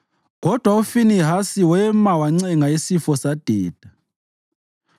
Kodwa uFinehasi wema wancenga isifo sadeda.